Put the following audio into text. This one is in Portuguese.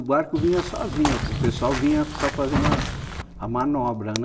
O barco vinha sozinho, o pessoal vinha só fazendo a a manobra, né?